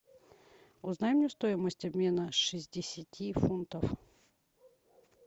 узнай мне стоимость обмена шестидесяти фунтов